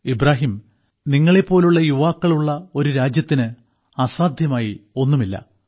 ഇബ്രാഹിം നിങ്ങളെപ്പോലുള്ള യുവാക്കൾ ഉള്ള ഒരു രാജ്യത്തിന് അസാധ്യമായി ഒന്നുമില്ല